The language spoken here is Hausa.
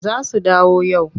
Za su dawo yau.